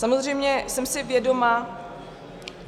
Samozřejmě jsem si vědoma... že...